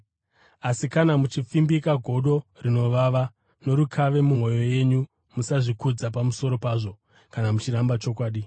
Asi kana muchipfimbika godo rinovava norukave mumwoyo yenyu, musazvikudza pamusoro pazvo kana muchiramba chokwadi.